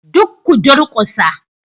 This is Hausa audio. Duk ku durkusa